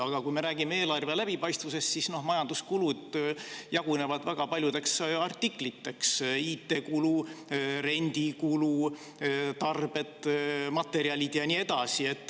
Aga kui me räägime eelarve läbipaistvusest, siis majanduskulud jagunevad väga paljudeks artikliteks: IT-kulu, rendikulu, tarbed, materjalid ja nii edasi.